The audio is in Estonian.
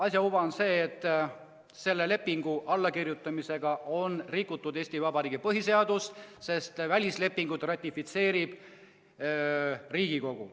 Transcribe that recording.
Asja uba on see, et selle lepingu allakirjutamisega on rikutud Eesti Vabariigi põhiseadust, sest välislepinguid ratifitseerib Riigikogu.